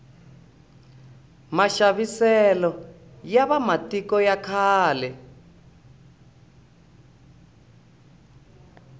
maxaviselo ya va matiko ya khale